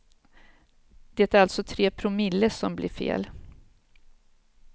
Det är alltså tre promille som blir fel.